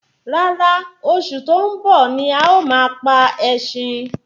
Rárá oṣù tó ń bọ̀ ní a ma pa ẹṣin